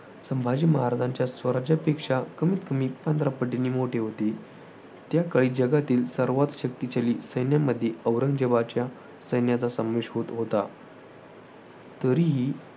संभाजी महाराजांच्या स्वराज्यापेक्षा कमीतकमी पंधरा पटींनी मोठे होते. त्याकाळी जगातील सर्वांत शक्तिशाली सैन्यांमध्ये औरंगजेबाच्या सैन्याचा समावेश होत होता.